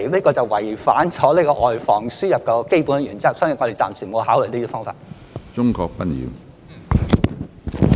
這是違反了外防輸入的基本原則，所以我們暫時沒有考慮這些方法。